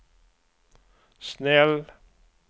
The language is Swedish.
snäll